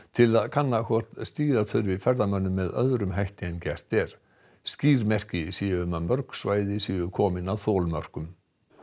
til að kanna hvort stýra þurfi ferðamönnum með öðrum hætti en gert er skýr merki séu um að mörg svæði séu komin að þolmörkum